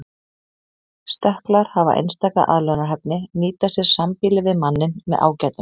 Stökklar hafa einstaka aðlögunarhæfni nýta sér sambýli við manninn með ágætum.